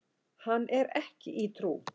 Hann er ekki í trú.